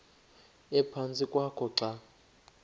ephantsi kwakho xa